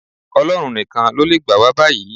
Ọlọ́run nìkan ló le gbà wá báyìí